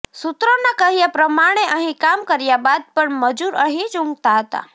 સૂત્રોનાં કહ્યા પ્રમાણે અહીં કામ કર્યા બાદ પણ મજૂર અહીં જ ઊંઘતા હતા